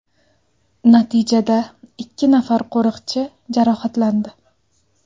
Natijada ikki nafar qo‘riqchi jarohatlandi.